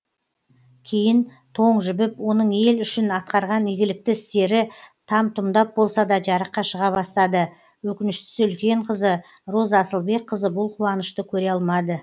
кейін тоң жібіп оның ел үшін атқарған игілікті істері там тұмдап болса да жарыққа шыға бастады өкініштісі үлкен қызы роза асылбекқызы бұл қуанышты көре алмады